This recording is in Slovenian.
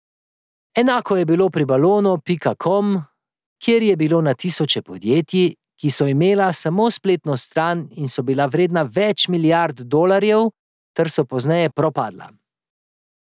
Enako je bilo pri balonu pika kom, kjer je bilo na tisoče podjetij, ki so imela samo spletno stran in so bila vredna več milijard dolarjev ter so pozneje propadla.